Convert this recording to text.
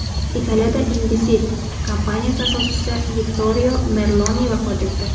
Italiyada Indesit kompaniyasi asoschisi Vittorio Merloni vafot etdi.